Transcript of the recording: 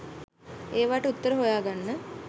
ඒවට උත්තර හොයාගන්න